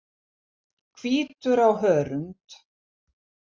Hvítur á hörund.